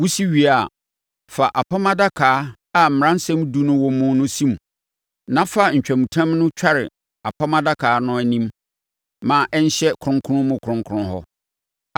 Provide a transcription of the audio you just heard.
Wosi wie a, fa Apam Adaka a Mmaransɛm Edu no wɔ mu no si mu. Na fa ntwamutam no tware Apam Adaka no anim ma ɛnhyɛ kronkron mu kronkron hɔ.